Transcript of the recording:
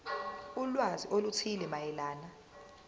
ulwazi oluthile mayelana